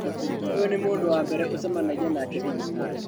Ũyũ nĩ mũndũ wa mbere ucemanagia nake thibitarĩ